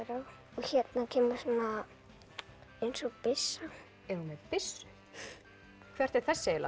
og hérna kemur eins og byssa er hún með byssu hvert er þessi eiginlega